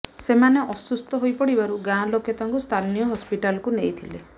ସେମାନେ ଅସୁସ୍ଥ ହୋଇ ପଡ଼ିବାରୁ ଗାଁ ଲୋକେ ତାଙ୍କୁ ସ୍ଥାନୀୟ ହସ୍ପିଟାଲକୁ ନେଇଥିଲେ